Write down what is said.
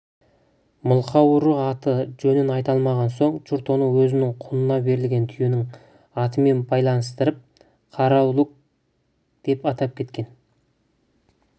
мылқау ұры аты-жөнін айта алмаған соң жұрт оны өзінің құнына берілген түйенің атымен байланыстырып қараүлек деп атап кеткен